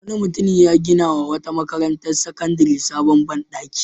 Wani mutum ya ginawa wata makarantar sakandare sabon ban ɗaki.